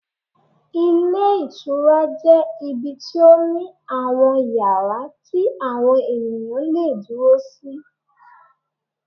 Ilé Ìtura jẹ́ ibi tí ó ní àwọn yàrá tí àwọn ènìyàn le è dúró sí